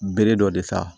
Bere dɔ de ta